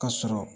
Ka sɔrɔ